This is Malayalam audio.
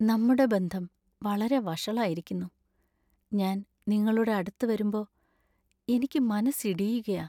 നമ്മുടെ ബന്ധം വളരെ വഷളായിരിക്കുന്നു. ഞാൻ നിങ്ങളുടെ അടുത്ത് വരുമ്പോ എനിക്ക് മനസ്സിടിയുകയാ.